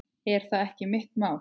Er það ekki mitt mál?